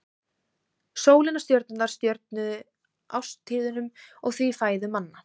Sólin og stjörnurnar stjórnuðu árstíðunum og því fæðu manna.